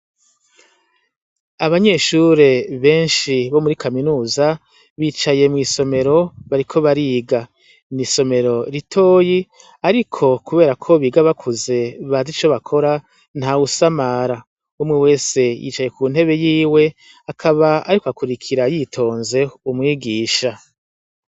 Abanyeshure benshi bo muri kaminuza, bicaye mw'isomero bariko bariga. Ni isomero ritoyi, ariko kubera ko biga bakuze bazi ico bakora, ntawusamara. Umwe wese yicaye kuntebe yiwe, akaba ariko akurukira yitonze umwigisha.